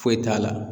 Foyi t'a la